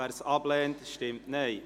wer dieses ablehnt, stimmt Nein.